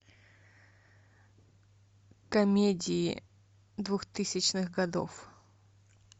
комедии двухтысячных годов